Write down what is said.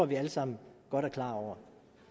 vi alle sammen godt er klar over